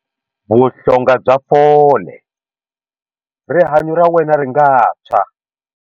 Vuhlonga bya fole- Rihanyu ra wena ri nga tshwa.